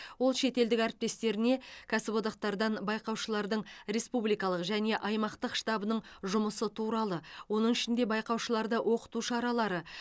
ол шетелдік әріптестеріне кәсіподақтардан байқаушылардың республикалық және аймақтық штабының жұмысы туралы оның ішінде байқаушыларды оқыту шаралары